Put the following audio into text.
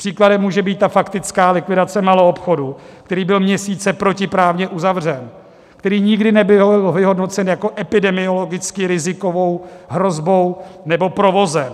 Příklad může být ta faktická likvidace maloobchodu, který byl měsíce protiprávně uzavřen, který nikdy nebyl vyhodnocen jako epidemiologicky rizikovou hrozbou nebo provozem.